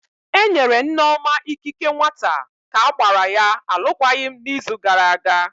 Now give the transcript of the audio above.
Enyere Nneoma ikike nwata ka gbara ya alụkwaghịm n'izu gara aga.